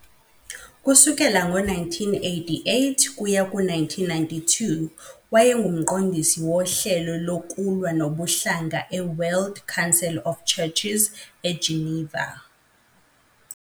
Kusukela ngo-1988 kuya ku-1992 wayenguMqondisi woHlelo Lokulwa Nobuhlanga e-World Council of Churches eGeneva.